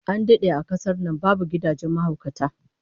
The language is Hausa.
An dade a kasar nan babu gidajen mahaukata